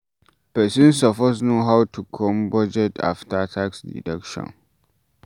Person suppose know how to make budget after tax deduction